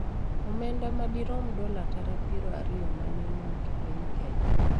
Omenda ma dirom dola tara piero ariyo ma ne owuok e piny Kenya.